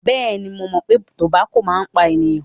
Bẹẹni, mo mọ̀ pé tobako máa ń pa ènìyàn.